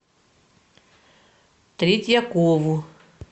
третьякову